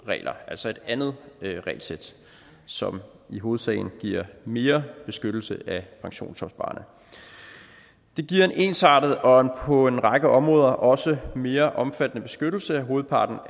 regler altså et andet regelsæt som i hovedsagen giver mere beskyttelse af pensionsopsparerne det giver en ensartet og på en række områder også mere omfattende beskyttelse af hovedparten